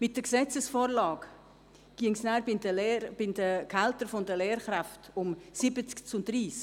Bei der Gesetzesvorlage geht es bei den Gehältern der Lehrkräfte um 70 zu 30.